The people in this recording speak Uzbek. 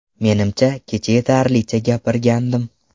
Menimcha kecha yetarlicha gapirgandim.